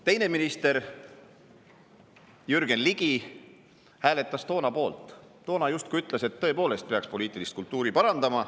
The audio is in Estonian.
Teine minister, Jürgen Ligi, hääletas toona poolt, justkui ütles, et tõepoolest peaks poliitilist kultuuri parandama.